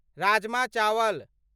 राजमा चावल